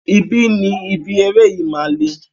Ibi ni ibi eré yìí máa le.